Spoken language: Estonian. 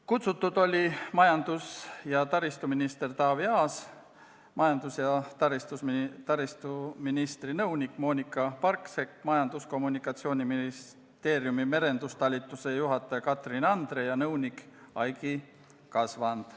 Kutsutud oli majandus- ja taristuminister Taavi Aas, majandus- ja taristuministri nõunik Moonika Parksepp, Majandus- ja Kommunikatsiooniministeeriumi merendustalituse juhataja Katrin Andre ja nõunik Aigi Kasvand.